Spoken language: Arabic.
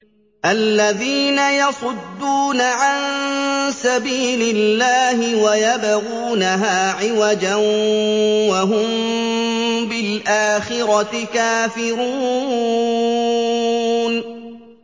الَّذِينَ يَصُدُّونَ عَن سَبِيلِ اللَّهِ وَيَبْغُونَهَا عِوَجًا وَهُم بِالْآخِرَةِ كَافِرُونَ